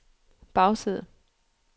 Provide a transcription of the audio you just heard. bagside